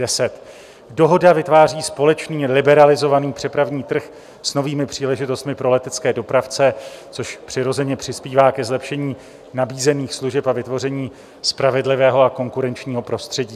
Dohoda vytváří společný liberalizovaný přepravní trh s novými příležitostmi pro letecké dopravce, což přirozeně přispívá ke zlepšení nabízených služeb a vytvoření spravedlivého a konkurenčního prostředí.